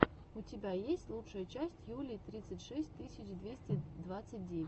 у тебя есть лучшая часть юлии тридцать шесть тысяч двести двадцать девять